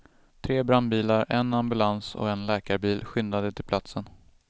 Tre brandbilar, en ambulans och en läkarbil skyndade till platsen.